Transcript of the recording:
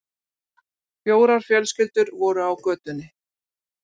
Fjórar fjölskyldur voru á götunni.